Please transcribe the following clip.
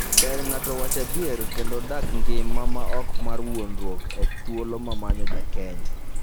Ber ng'ato owach adier kendo odag ngima ma ok mar wuondruok e thuolo momanyo jakeny.